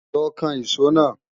Lọ kan ìṣó náà!